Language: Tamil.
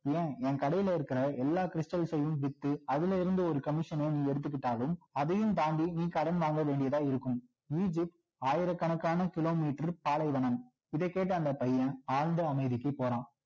ஏன் என் கடையிலயிருக்கிற எல்லா stals சையும் வித்து அதுல இருந்து ஒரு commission சனை நீ எடுத்துக்கிட்டாலும் அதையும் தாண்டி நீ கடன் வாங்க வேண்டியதா இருக்கும் egypt ஆயிர கணக்கான kilometer பாலைவனம் இதை கேட்ட அந்த பையன் ஆழ்ந்த அமைதிக்கு போறான்